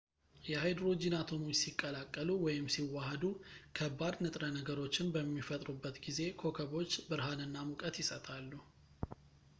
የሃይድሮጂን አቶሞች ሲቀላቀሉ ወይም ሲዋሃዱ ከባድ ንጥረ ነገሮችን በሚፈጥሩበት ጊዜ ኮከቦች ብርሃንና ሙቀት ይሰጣሉ